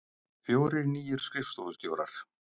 Fjórir nýir skrifstofustjórar